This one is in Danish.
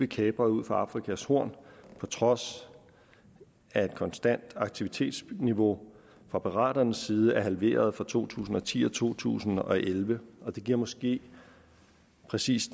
kapret ud for afrikas horn på trods af et konstant aktivitetsniveau fra piraternes side er halveret fra to tusind og ti til to tusind og elleve det giver måske præcis